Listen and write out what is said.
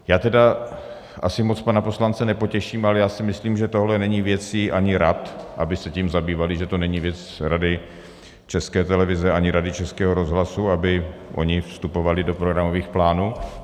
Já tedy asi moc pana poslance nepotěším, ale já si myslím, že tohle není věcí ani rad, aby se tím zabývaly, že to není věc Rady České televize ani Rady Českého rozhlasu, aby ony vstupovaly do programových plánů.